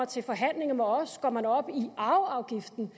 til forhandlinger med os gik man op i arveafgiften